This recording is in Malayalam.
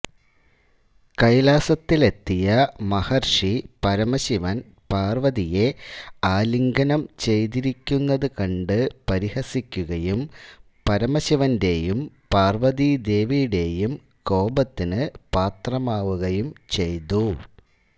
കൈലാസത്തിലെത്തിയ മഹർഷി പരമശിവൻ പാർവതിയെ ആലിംഗനം ചെയ്തിരിക്കുന്നതുകണ്ട് പരിഹസിക്കുകയും പരമശിവന്റെയും പാർവതീദേവിയുടെയും കോപത്തിനു പാത്രമാവുകയും ചെയ്തു